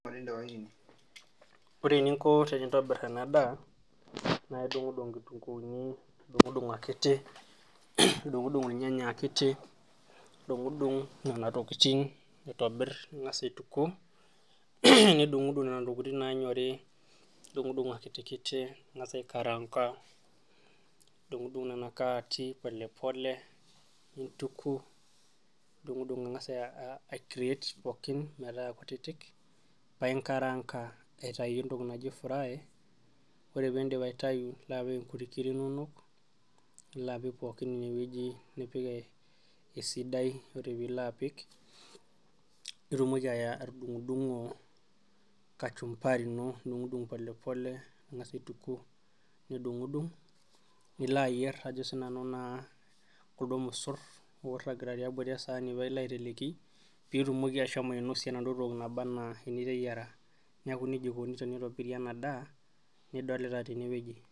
Ore eninko tenintabir ena daa naa idung'uduk inkituunkuni nidung'uduk akiti nidung'udung irnyanya akiti nidung'udung nena tokitin aitobit ning'a aituku nidung'udung nena tokitin naayori nidung'udung akiti ning'as aikaraanka nidung'udung nea karati polepole nidung'udung ang'a aicreat pooikn nintaa kutitik painkaraanga atitau entoki naji fri ore peindip aitayi nilo apik ingirik inonok nilo apik pookin ine wueji sidai ore piilo apik nitumoki atudung'o kachumbari polepole nilo aituku nidung'udung nilo ayier ajo naasiinanu naa kuldo mosor oiragita tiabori esaani pailo apik peitumoki ashomo ainosie enaduo toki nabanaa eniteyiara neeku nejia aikoni ena daa niteyiara.